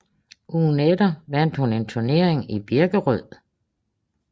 Ugen efter vandt hun en turnering i Birkerød